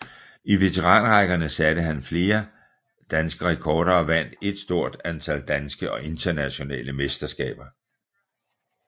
I veteranrækkerne satte han et flere danske rekorder og vandt et stort antal danske og internationale mesterskaber